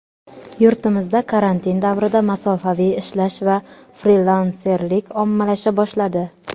Yurtimizda karantin davrida masofaviy ishlash va frilanserlik ommalasha boshladi.